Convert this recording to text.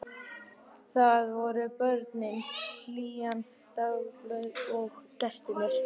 Þar voru börnin, hlýjan, dagblöðin og gestirnir.